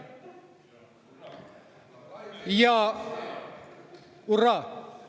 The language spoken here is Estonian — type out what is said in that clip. Hurraa!